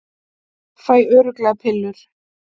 Fæ örugglega pillur